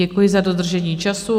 Děkuji za dodržení času.